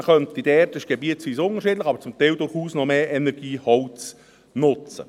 Man könnte dort – das ist gebietsweise unterschiedlich – zum Teil durchaus noch mehr Energieholz nutzen.